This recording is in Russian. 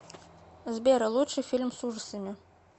сбер лучший фильм с ужасами